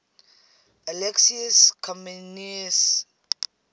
alexius comnenus